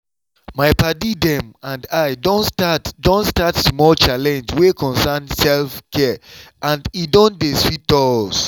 my padi dem and i don start don start small challenge wey concern self-care and e don dey sweet us.